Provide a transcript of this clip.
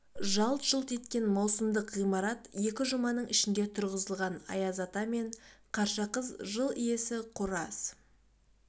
жалт-жұлт еткен маусымдық ғимарат екі жұманың ішінде тұрғызылған аяз ата мен қарша қыз жыл иесі қораз